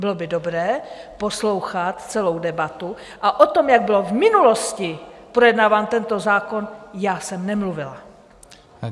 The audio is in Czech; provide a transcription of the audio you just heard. Bylo by dobré poslouchat celou debatu a o tom, jak byl v minulosti projednáván tento zákon, já jsem nemluvila.